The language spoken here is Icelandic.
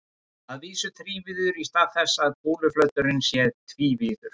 Að vísu þrívíður í stað þess að kúluflöturinn sé tvívíður.